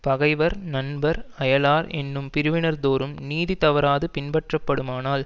பகைவர் நண்பர் அயலார் என்னும் பிரிவினர் தோறும் நீதி தவறாது பின்பற்றப்படுமானால்